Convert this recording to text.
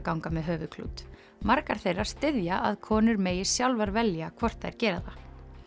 ganga með höfuðklút margar þeirra styðja að konur megi sjálfar velja hvort þær gera það